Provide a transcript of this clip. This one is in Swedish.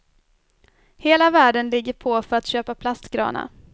Hela världen ligger på för att köpa plastgranar.